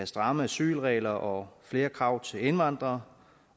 stramme asylregler og flere krav til indvandrere